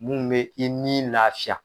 Mun bɛ i ni lafiya.